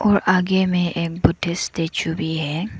और आगे में एक बुद्ध स्टैचू भी है।